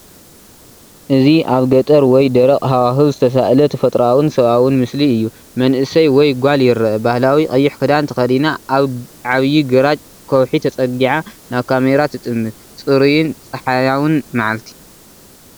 እዚ ኣብ ገጠር ወይ ደረቕ ሃዋህው ዝተሳእለ ተፈጥሮኣውን ሰብኣውን ምስሊ እዩ። መንእሰይ ወይ ጓል ይርአ። ባህላዊ ቀይሕ ክዳን ተኸዲና ኣብ ዓቢ ግራጭ ከውሒ ተጸጊዓ ናብ ካሜራ ትጥምት። ጽሩይን ጸሓያውን መዓልቲ!